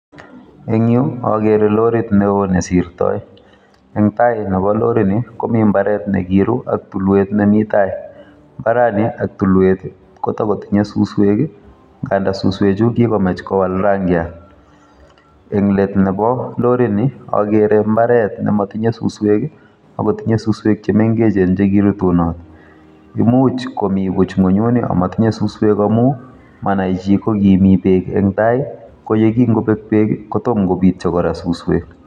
Eng' yuu, agere lorit neo nesirtoi. Eng' tai nebo lorit ni, komi mbaret ne kiru, ak tulwet nemi tai. Mbarani ak tulwet, kotakotinye suswek. Ngandaa suswek chu, kikomach kowal rangiat. Eng' let nebo lorit ni, agere mbaret ne matinye suswek, akotinye suswek che mengechen che kirutunot. Imuch komi buch ngunyuni, amatinye suswek amu manai chi, kokimi beek eng' tai, ko yekingobek beek, kotom kobitio kora suswek